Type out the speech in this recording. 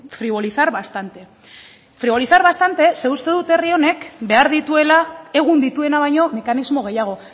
frivolizar bastante frivolizar bastante zeren uste dut herri honek behar dituela egun dituena baino mekanismo gehiago